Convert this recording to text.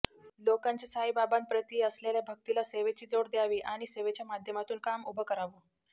लोकांच्या साईबाबांप्रति असलेल्या भक्तीला सेवेची जोड द्यावी आणि सेवेच्या माध्यमातून काम उभं करावं